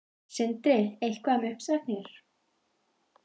Sindri: Eitthvað um uppsagnir?